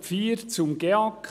Punkt 4, zum GEAK